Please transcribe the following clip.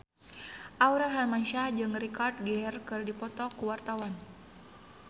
Aurel Hermansyah jeung Richard Gere keur dipoto ku wartawan